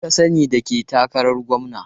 Wa ka sani da ke takaran gwamna?